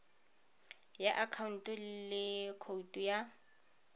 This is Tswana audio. ya akhaonto le khoutu ya